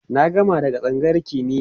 na gama daga tsangayar kimiya